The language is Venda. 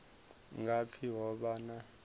nga pfi ho vha na